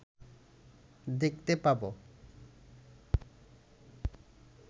দেখতে পাব